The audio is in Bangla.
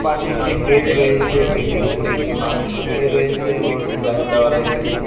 পাশে একটি বেড রয়েসে বেড এর উপরে একটি মানুষ শুয়ে রয়েসে ও স্যালাইন দেওয়া রয়েসে।